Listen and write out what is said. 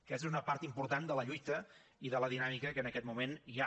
aquesta és una part important de la lluita i de la dinàmica que en aquest moment hi ha